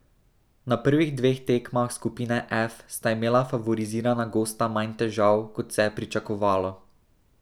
Na prvih dveh tekmah skupine F sta imela favorizirana gosta manj težav, kot se je pričakovalo.